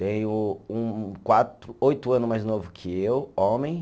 Tenho um quatro, oito ano mais novo que eu, homem.